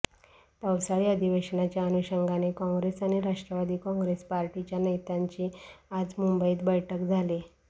पावसाळी अधिवेशनाच्या अनुषंगाने काँग्रेस आणि राष्ट्रवादी काँग्रेस पार्टीच्या नेत्यांची आज मुंबईत बैठक झाली